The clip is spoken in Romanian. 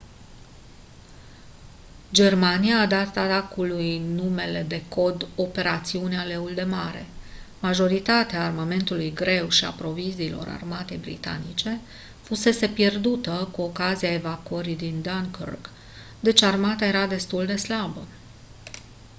germania a dat atacului numele de cod operațiunea leul de mare majoritatea armamentului greu și a proviziilor armatei britanice fusese pierdută cu ocazia evacuării din dunkirk deci armata era destul de slabă